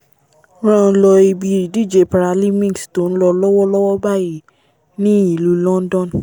rán lọ́ ibi ìdíje paralymics tó nlọ lọ́wọ́ lọ́wọ́ báyìí ní ìlú london